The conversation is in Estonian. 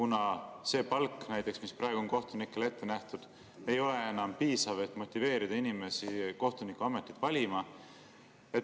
Näiteks see palk, mis praegu on kohtunikele ette nähtud, ei ole enam piisav, et motiveerida inimesi kohtunikuametit valima.